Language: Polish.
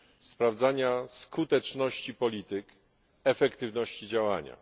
sprawdzania skuteczności polityk, efektywności działania.